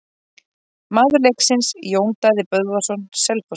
Maður leiksins: Jón Daði Böðvarsson Selfossi.